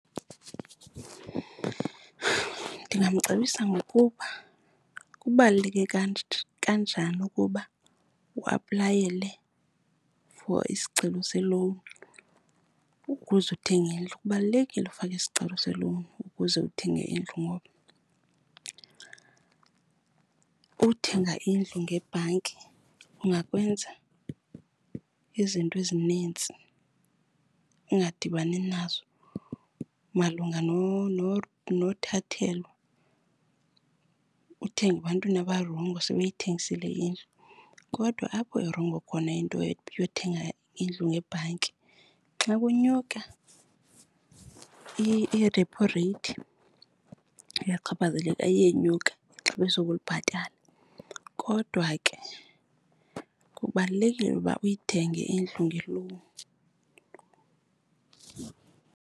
Ndingamcebisa ngokuba kubaluleke kanjani ukuba uaplayele for isicelo se-loan ukuze uthenge indlu. Kubalulekile ufaka isicelo se-loan ukuze uthenge indlu ngoba ukuthenga indlu ngebhanki kungakwenza izinto ezinintsi ungadibani nazo malunga nothathelwa, uthenge ebantwini abarongo sebeyithengisile indlu. Kodwa apho irongo khona into yokuthenga indlu ngebhanki xa kunyuka i-repo rate uyachaphazeleka, iyenyuka ixabiso obulibhatala. Kodwa ke kubalulekile uba uyithenge indlu nge-loan.